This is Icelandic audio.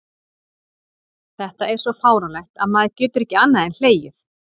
Þetta er svo fáránlegt að maður getur ekki annað en hlegið.